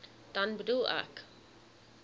dan bedoel ek